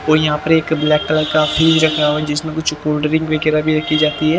कोई यहां पर एक ब्लैक कलर का फ्रिज रखा हुआ है जिसमें कुछ कोल्ड ड्रिंक वगैरह भी रखी जाती है।